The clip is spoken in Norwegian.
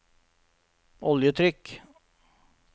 oljetrykk